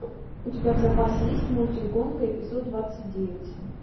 у тебя в запасе есть мультик гонка эпизод двадцать девять